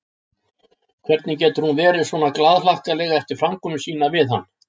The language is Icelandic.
Hvernig getur hún verið svona glaðhlakkaleg eftir framkomu sína við hann?